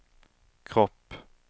kropp